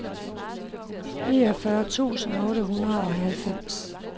niogfyrre tusind otte hundrede og halvfems